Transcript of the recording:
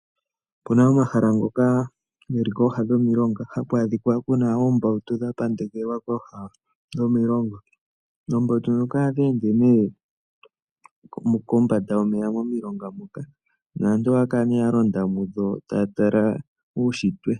Opena omahala ngoka geli kooha dhomilonga ,ha ku adhika kuna oombautu, dha pandekelwa kooha dhomilonga. Oombautu ohadhi ende kombanda yomeya momilonga dhoka, naantu ohaya kala ya londa mudho taya tala uushitwe.